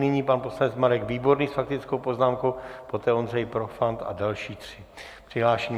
Nyní pan poslanec Marek Výborný s faktickou poznámkou, poté Ondřej Profant a další tři přihlášení.